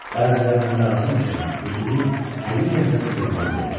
Bəziləri bu mərasim üçün özünü həqiqətən də qurban verir.